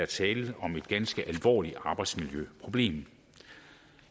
tale om et ganske alvorligt arbejdsmiljøproblem